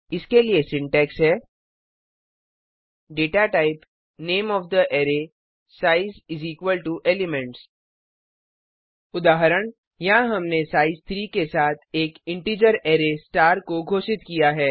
इसके लिए सिटैक्स है160 data type name of the array size is equal to elements data type array का नाम आकारसाइज़ एलिमेंट्स के बराबर है उदाहरण यहाँ हमने साइज 3 के साथ एक इन्टिजर अरै स्टार को घोषित किया है